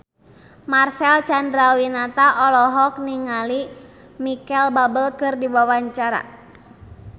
Marcel Chandrawinata olohok ningali Micheal Bubble keur diwawancara